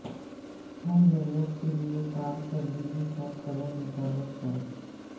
ہر ضرورت کے لئے کارکردگی کا قدر مقرر کریں